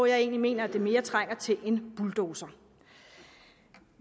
jeg egentlig mener mere trænger til en bulldozer